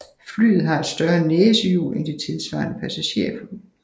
Flyet har et større næsehjul end de tilsvarende passagerfly